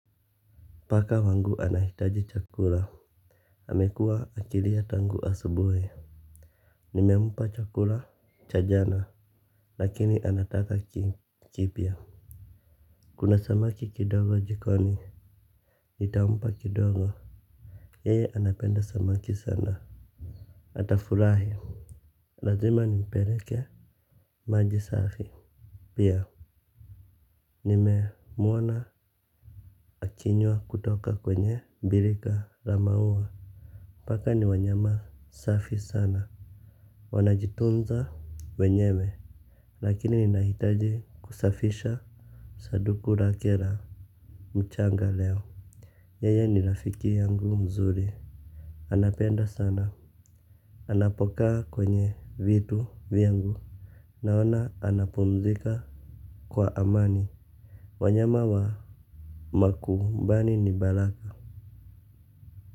Paka wangu anahitaji chakura amekua akilia tangu asubui. Nimempa chakura chajana. Lakini anataka kipya. Kuna samaki kidogo jikoni nitaumpa kidogo. Yeye anapenda samaki sana. Atafurahi. Lazima ni mpeleke. Maji safi. Pia nime mwona akinywa kutoka kwenye bilika rama uwa. Paka ni wanyama safi sana. Wanajitunza wenyewe. Lakini ninahitaji kusafisha saduku lake la mchanga leo. Yeye ni rafiki yangu mzuri. Anapenda sana. Anapokaa kwenye vitu vyangu naona anapumzika kwa amani wanyama wa makumbani ni bala.